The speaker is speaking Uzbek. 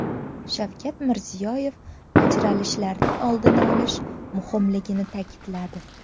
Shavkat Mirziyoyev ajralishlarning oldini olish muhimligini ta’kidladi.